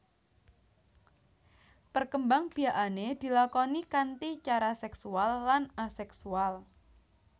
Perkembangbiakané dilakoni kanti cara seksual lan aseksual